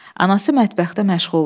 Anası mətbəxdə məşğuldur.